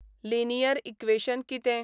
Linear equation कितें?